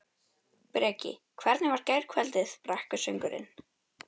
Breki: Hvernig var gærkvöldið, brekkusöngurinn?